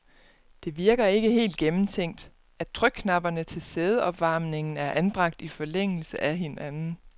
Det virker ikke helt gennemtænkt, at trykknapperne til sædeopvarmningen er anbragt i forlængelse af hinanden.